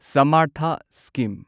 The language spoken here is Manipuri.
ꯁꯃꯔꯊꯥ ꯁ꯭ꯀꯤꯝ